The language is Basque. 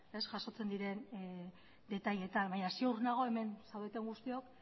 jasotzen diren detaileetan baina ziur nago hemen zaudeten guztiok